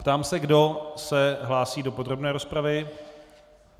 Ptám se, kdo se hlásí do podrobné rozpravy.